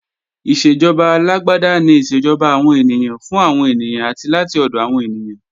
Ìṣèjọba alágbáda ni ìṣèjọba àwọn ènìyàn, fún àwọn ènìyàn, àti láti ọ̀dọ̀ àwọn ènìyàn